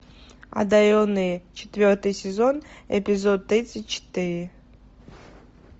одаренные четвертый сезон эпизод тридцать четыре